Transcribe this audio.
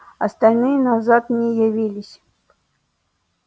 остальные назад не явились